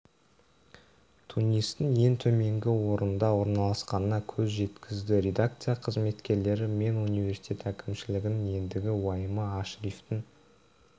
тунистің ең төменгі орында орналасқанына көз жеткізді редакция қызметкерлері мен университет әкімшілігінің ендігі уайымы ашрифтің